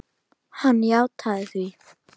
Hann játaði því.